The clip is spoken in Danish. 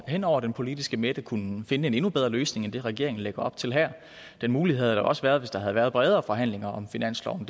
hen over den politiske midte kunne finde en endnu bedre løsning end det regeringen lægger op til her den mulighed havde der også været hvis der havde været bredere forhandlinger om finansloven